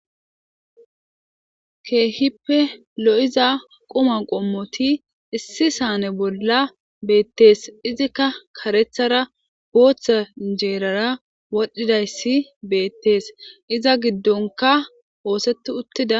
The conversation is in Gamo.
keehippe lo7iza quma qommoti issi saane bolla beettees izikka karethara gooththa injeerara wodhdhidayssi beettees iza giddonka hoosetti uttida